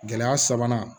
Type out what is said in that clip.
Gɛlɛya sabanan